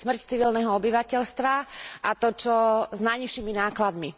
Smrť civilného obyvateľstva, a to čo s najnižšími nákladmi.